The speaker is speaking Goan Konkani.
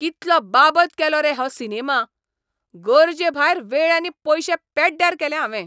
कितलो बाबत केलो रे हो सिनेमा. गरजेभायर वेळ आनी पयशे पेड्ड्यार केले हावें.